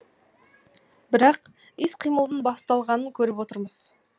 бірақ іс қимылдың басталғанын көріп отырмыз